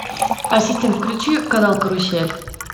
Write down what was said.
ассистент включи канал карусель